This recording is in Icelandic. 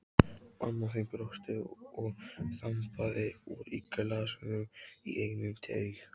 Mamma þín brosti og þambaði úr glasinu í einum teyg.